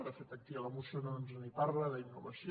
de fet aquí a la moció no ens en parla d’innovació